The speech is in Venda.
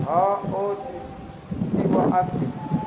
ha o itiwa a si